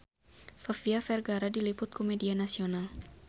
Sofia Vergara diliput ku media nasional